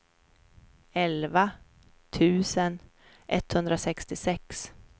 elva tusen etthundrasextiosex